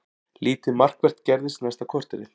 Lítið markvert gerðist næsta korterið.